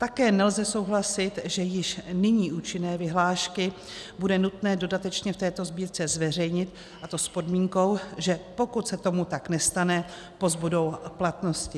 Také nelze souhlasit, že již nyní účinné vyhlášky bude nutné dodatečně v této sbírce zveřejnit, a to s podmínkou, že pokud se tomu tak nestane, pozbudou platnosti.